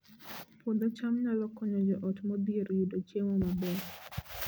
Puodho cham nyalo konyo joot modhier yudo chiemo maber